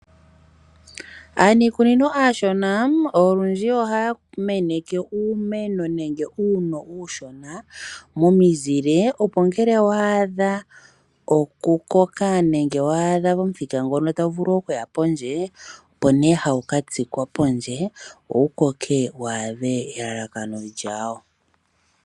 Aaniikunino aashona olundji ohaya meneke uumeno nenge uuno uushona momizile opo ngele wa adha okukoka nenge wa adha pomuthika ngono tawu vulu okuya pondje opo nee hawu katsikwa pondje wo wukoke waadhe elalakano lyawo.